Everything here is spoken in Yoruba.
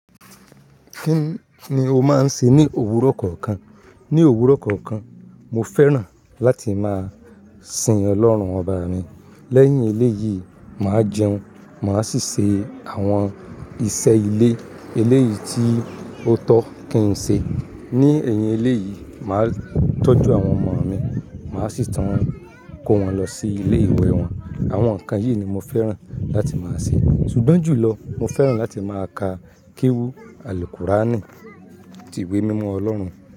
Kí ni o máa ń ṣe ní òwúrọ̀ kọ̀ọ̀kan? Ní òwúrọ̀ kọ̀ọ̀kan, mo fẹ́ràn láti máa sin Ọlọ́run ọba mi. Lẹ́yìn eléyìí, màá jẹun, màá sì ṣe àwọn iṣẹ́ ilé. Eléyìí tí ó tọ́ kí n ṣe. Ní èyìn eléyìí, màá tọ́jú àwọn ọmọ mi. Màá sì tún, kó wọn lọ sí ilé-ìwé wọn. Àwọn nǹkan yìí ni mo fẹ́ràn láti máa ṣe. Sùgbọ́n jùlọ, mo fẹ́ràn láti máa ka kéwú Alikuráànì, ti ìwé mímọ Ọlọ́run.